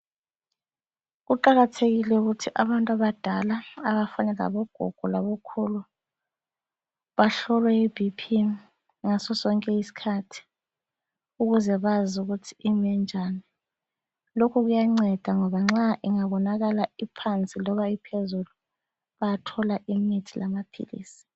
Kuqakathekile ukuthi abantu abadala abafana labogogo labokhulu bahlolwe i bp ngaso sonke isikhathi ukuze bazi ukuthi imi njani. Lokhu kuyanceda ngoba ingatholakala iphansi loba iphezulu bayathola imithi lamaphilisi.